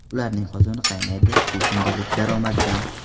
Ularning qozoni qaynaydi shu kundalik daromaddan.